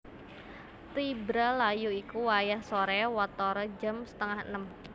Tibra layu iku wayah soré watara jam setengah enem